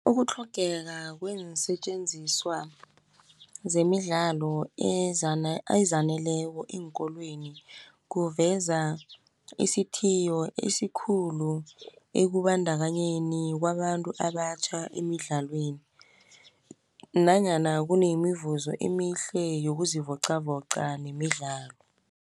Ukutlhogeka kweensetjenziswa zemidlalo ezaneleko eenkolweni, kuveza isithiyo esikhulu ekubandakanyeni kwabantu abatjha emidlalweni, nanyana kunemivuzo emihle yokuzivoqavoqa nemidlalo.